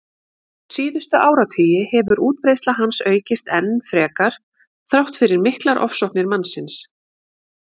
Síðustu áratugi hefur útbreiðsla hans aukist enn frekar þrátt fyrir miklar ofsóknir mannsins.